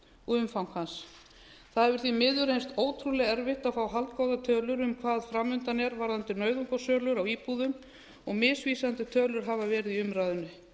og umfang hans það hefur því miður reynst ótrúlega erfitt að fá haldgóðar tölur um hvað framundan er varðandi nauðungarsölur á íbúðum og misvísandi tölur hafa verið í umræðunni